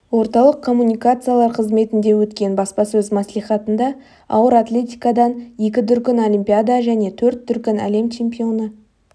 орталық коммуникациялар қызметінде өткен баспасөз мәслихатында ауыр атлетикадан екі дүркін олимпиада және төрт дүркін әлем чемпионы